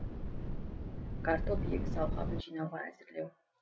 картоп егіс алқабын жинауға әзірлеу